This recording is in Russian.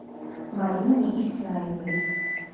марине исаевой